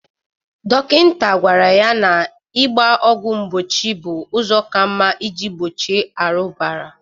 Dokịnta gwara ya na ịgba ọgwụ mgbochi bụ ụzọ ka mma ị ji gbochie arụbara.